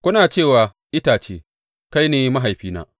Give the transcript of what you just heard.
Kuna ce wa itace, Kai ne mahaifina,’